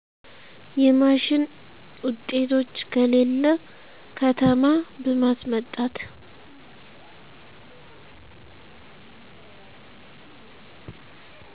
የማሺን ውጤቶች ከሌለ ከተማ በማስመጣት